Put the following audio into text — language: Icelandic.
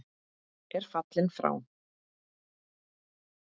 er fallinn frá.